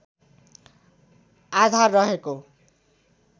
आधार रहेको